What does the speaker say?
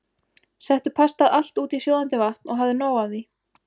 Settu pastað alltaf út í sjóðandi vatn og hafðu nóg af því.